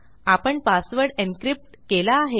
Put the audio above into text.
आपण पासवर्ड encryptकेला आहे